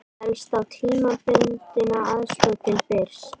Fellst á tímabundna aðstoð til Byrs